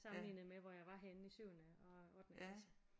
Sammenlignet med hvor jeg var henne i syvende og i ottende klasse